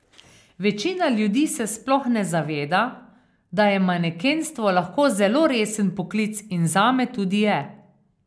Večina ljudi se sploh ne zaveda, da je manekenstvo lahko zelo resen poklic in zame tudi je.